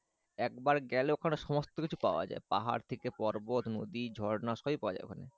একবার গেলে ওখানে সমস্থ কিছু পাওয়া যায় পাহাড় থেকে পর্বত নদী ঝরনা সবই পাওয়া যায় ওখানে